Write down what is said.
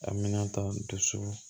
A mina ta ndoso